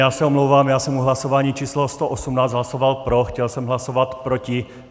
Já se omlouvám, já jsem u hlasování číslo 118 hlasoval pro, chtěl jsem hlasovat proti.